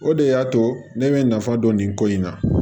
O de y'a to ne bɛ nafa dɔn nin ko in na